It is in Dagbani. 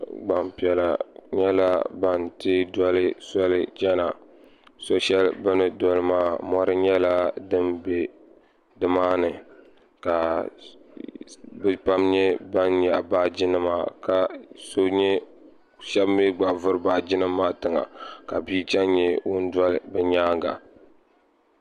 Gbampiɛla nyɛla ban teei doli soli chana so'shɛli bɛ ni doli maa mɔri nyɛla din be nimaani ka bɛ pam nyɛ ban nyaɣi baajinima ka shɛba mi gba vuri baajinima maa tiŋa ka bia che n-nyɛ ŋun doli bɛ nyaaŋa.